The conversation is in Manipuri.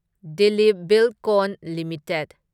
Dilip Buildcon limited